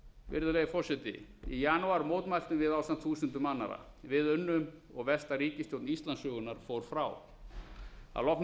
virðulegi forseti í janúar mótmæltum við ásamt þúsundum annarra við unnum og versta ríkisstjórn íslandssögunnar fór frá að loknum